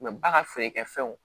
ba ka feerekɛfɛnw